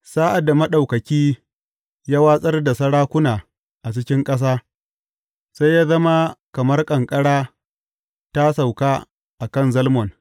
Sa’ad da Maɗaukaki ya watsar da sarakuna a cikin ƙasa, sai ya zama kamar ƙanƙara ta sauka a kan Zalmon.